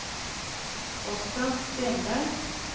Oscar Stenberg